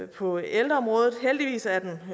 på ældreområdet heldigvis er den